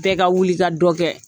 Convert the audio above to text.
Bɛɛ ka wuli i ka dɔ kɛ